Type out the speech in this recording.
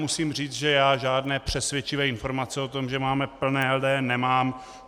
Musím říct, že já žádné přesvědčivé informace o tom, že máme plné LDN, nemám.